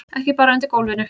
Ekki bara undir gólfinu.